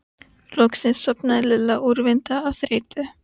Hvers vegna er mömmu svona meinilla við þessar myndir?